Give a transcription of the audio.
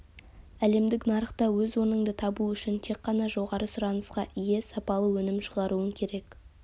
әлемдік нарықта өз орныңды табу үшін тек қана жоғары сұранысқа ие сапалы өнім шығаруың керек